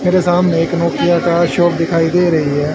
मेरे सामने एक नोकिया का शॉप दिखाई दे रही है।